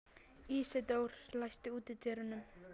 Ísidór, læstu útidyrunum.